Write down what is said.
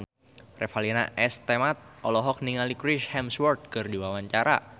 Revalina S. Temat olohok ningali Chris Hemsworth keur diwawancara